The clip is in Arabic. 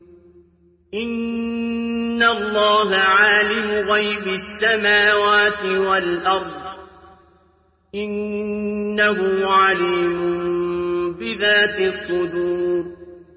إِنَّ اللَّهَ عَالِمُ غَيْبِ السَّمَاوَاتِ وَالْأَرْضِ ۚ إِنَّهُ عَلِيمٌ بِذَاتِ الصُّدُورِ